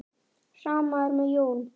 Sama er með Jón.